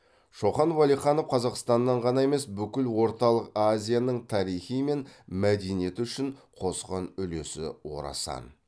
шоқан уәлиханов қазақстаннаң ғана емес бүкіл орталық азияның тарихи мен мәдениеті үшін қосқан үлесі орасан